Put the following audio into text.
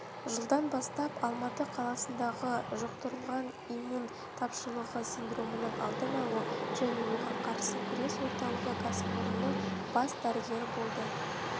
жылдан бастап алматы қаласындағы жұқтырылған иммун тапшылығы синдромының алдын алу және оған қарсы күрес орталығы кәсіпорнының бас дәрігері болды